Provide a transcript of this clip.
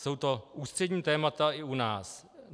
Jsou to ústřední témata i u nás.